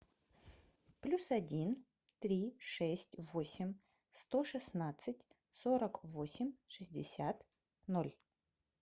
плюс один три шесть восемь сто шестнадцать сорок восемь шестьдесят ноль